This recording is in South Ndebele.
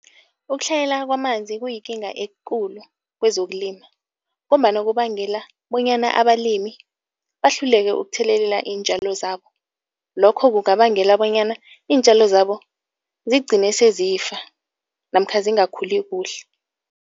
Ukutlhayela kwamanzi kuyikinga ekulu kwezokulima ngombana kubangela bonyana abalimi bahluleke ukuthelelela iintjalo zabo. Lokho kungabangela bonyana iintjalo zabo zigcine sezifa namkha zingakhuli kuhle.